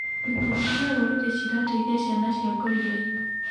Ikundi cia rũrĩrĩ cirateithia ciana cia ngoriai